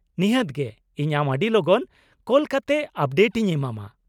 ᱱᱤᱦᱟᱹᱛ ᱜᱮ, ᱤᱧ ᱟᱢ ᱟᱹᱰᱤ ᱞᱚᱜᱚᱱ ᱠᱚᱞ ᱠᱟᱛᱮᱫ ᱟᱯᱰᱮᱴ ᱤᱧ ᱮᱢᱟᱢᱟ ᱾